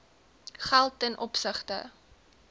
geld ten opsigte